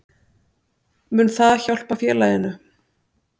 Mun það hjálpa félaginu?